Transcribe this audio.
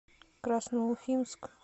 красноуфимск